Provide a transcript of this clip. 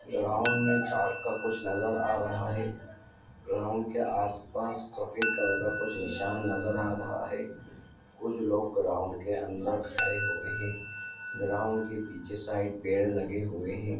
Ground में कुछ चौक का कुछ नजर आ रहा है ग्राउंड के आस-पास सफ़ेद कलर का कुछ निशान नजर आ रहा है कुछ लोग ग्राउंड अंदर खड़े हुए हैं ग्राउंड के पीछे साइड पेड़ लगे हुए है।